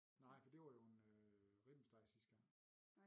Nej for det var jo en øh en ribbenssteg sidste gang